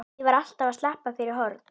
Ég var alltaf að sleppa fyrir horn.